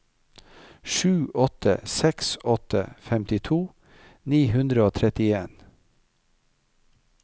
sju åtte seks åtte femtito ni hundre og trettien